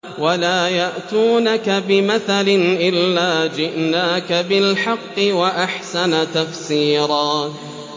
وَلَا يَأْتُونَكَ بِمَثَلٍ إِلَّا جِئْنَاكَ بِالْحَقِّ وَأَحْسَنَ تَفْسِيرًا